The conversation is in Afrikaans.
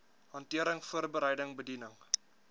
hantering voorbereiding bediening